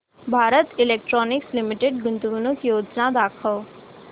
Bharat electronics limited गुंतवणूक योजना दाखव